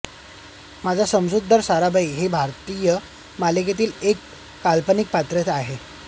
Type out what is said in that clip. माया मझुमदार साराभाई हे भारतीय मालिकेतील एक काल्पनिक पात्र आहे